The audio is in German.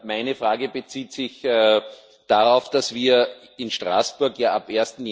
Meine Frage bezieht sich eher darauf, dass wir in Straßburg ab